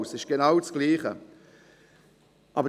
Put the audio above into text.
Es ist genau dasselbe.